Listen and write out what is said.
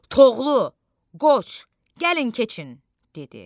Toğlu, Qoç, gəlin keçin! dedi.